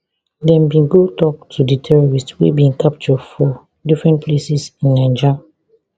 dem bin go tok to di terrorists wey we bin capture for different places in niger